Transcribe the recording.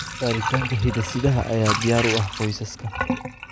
Baaritaanka hidde-sidaha ayaa diyaar u ah qoysaskan.